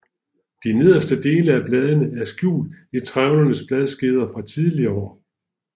De nederste dele af bladene er skjult i trævlede bladskeder fra tidligere år